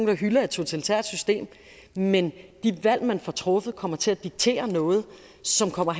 der hylder et totalitært system men de valg man får truffet kommer til at diktere noget som kommer